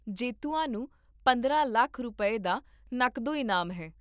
ਜੇਤੂਆਂ ਨੂੰ ਪੰਦਰਾਂ ਲੱਖ ਰੁਪਏ, ਦਾ ਨਕਦੋਂ ਇਨਾਮ ਹੈ